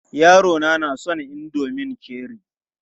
Yarona na son indomin Cherie.